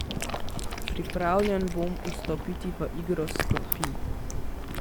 Pripravljen bom vstopiti v igro s klopi.